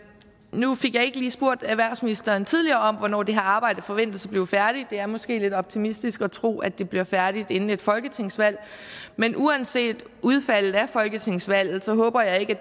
nu fik jeg ikke lige spurgt erhvervsministeren tidligere om hvornår det her arbejde forventes at blive færdigt det er måske lidt optimistisk at tro at det bliver færdigt inden et folketingsvalg men uanset udfaldet af folketingsvalget håber jeg ikke